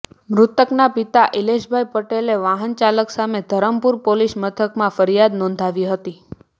મૃતકના પિતા ઇલેશભાઇ પટેલે વાનચાલક સામે ધરમપુર પોલીસ મથકમાં ફરિયાદ નોંધાવી હતી